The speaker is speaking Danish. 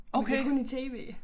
Men det kun i TV